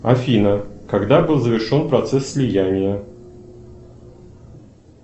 афина когда был завершен процесс слияния